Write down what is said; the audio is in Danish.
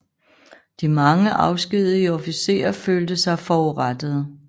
De mange afskedigede officerer følte sig forurettede